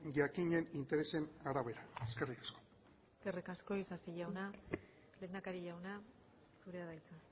jakinen interesen arabera eskerrik asko eskerrik asko isasi jauna lehendakari jauna zurea da hitza